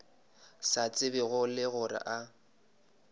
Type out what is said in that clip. sa tsebego le gore a